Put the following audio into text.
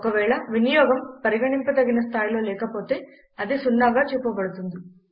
ఒకవేళ వినియోగం పరిగణింప తగిన స్థాయిలో లేకపోతే అది 0గా చూపబడుతుంది